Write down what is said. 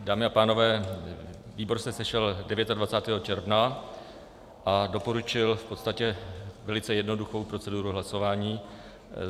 Dámy a pánové, výbor se sešel 29. června a doporučil v podstatě velice jednoduchou proceduru hlasování.